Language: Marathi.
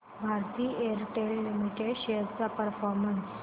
भारती एअरटेल लिमिटेड शेअर्स चा परफॉर्मन्स